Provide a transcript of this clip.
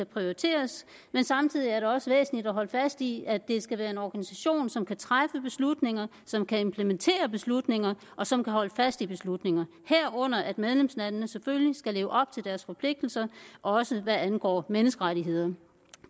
prioriteres men samtidig er det også væsentligt at holde fast i at det skal være en organisation som kan træffe beslutninger som kan implementere beslutninger og som kan holde fast i beslutninger herunder at medlemslandene selvfølgelig skal leve op til deres forpligtelser også hvad angår menneskerettigheder